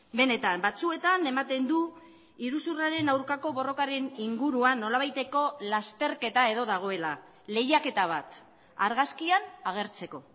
benetan batzuetan ematen du iruzurraren aurkako borrokaren inguruan nolabaiteko lasterketa edo dagoela lehiaketa bat argazkian agertzeko